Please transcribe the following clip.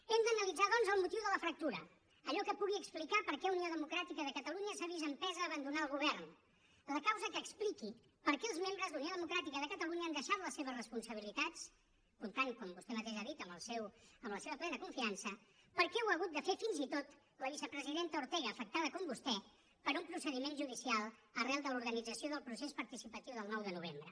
hem d’analitzar doncs el motiu de la fractura allò que pugui explicar per què unió democràtica de catalunya s’ha vist empesa a abandonar el govern la causa que expliqui per què els membres d’unió democràtica de catalunya han deixat la seves responsabilitats comptant com vostè mateix ha dit amb la seva plena confiança per què ho ha hagut de fer fins i tot la vicepresidenta ortega afectada com vostè per un procediment judicial arran de l’organització del procés participatiu del nou de novembre